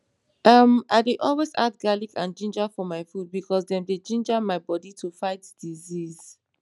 em i dey always add garlic and ginger for my food because dem dey ginga my bodi to fight disease